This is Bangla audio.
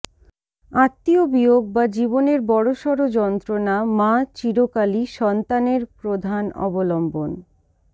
আত্মীয় বিয়োগ বা জীবনের বড়সড় যন্ত্রণা মা চিরকালই সন্তানের প্রধান অবলম্বন